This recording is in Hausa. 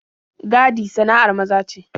Gadi sana'ar maza ce.